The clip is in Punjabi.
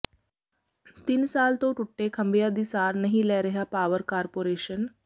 ਤਿੰਨ ਸਾਲ ਤੋਂ ਟੁੱਟੇ ਖੰਭਿਆਂ ਦੀ ਸਾਰ ਨਹੀਂ ਲੈ ਰਿਹਾ ਪਾਵਰ ਕਾਰਪੋਰੇਸ਼ਨ